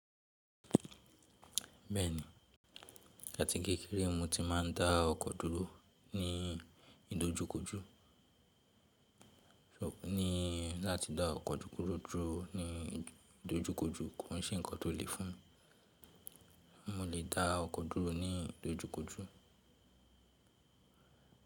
Bẹ́ẹ̀ni, áti kékeré mo ti máa ń dá ọkọ̀ dúró ní ìdojúkojú, ní láti dá ọkọ̀ dúró ní ìdojúkojú, kò ṣe nǹkan tó le fún mi. Mo lè dá ọkọ̀ dúró ní ìdojúkojú.